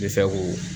Bɛ se k'o